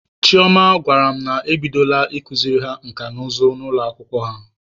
Chioma gwara m na ebidola ikuziri ha nka na ụzụ n'ụlọ akwụkwọ ha.